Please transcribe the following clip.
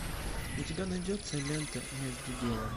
у тебя найдется лента между делом